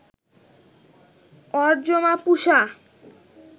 Aryama, Pusha